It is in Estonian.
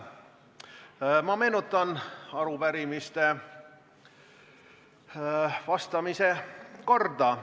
Ma meenutan arupärimistele vastamise korda.